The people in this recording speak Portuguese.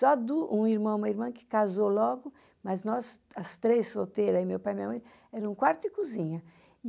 Já do, um irmão e uma irmã que casou logo, mas nós, as três solteiras e meu pai e minha mãe, era um quarto e cozinha.